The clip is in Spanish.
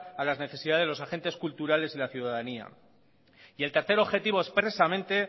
a las necesidades de los agentes culturales y la ciudadanía y el tercer objetivo expresamente